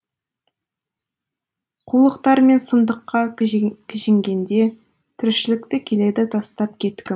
қулықтар мен сұмдыққа кіжінгенде тіршілікті келеді тастап кеткім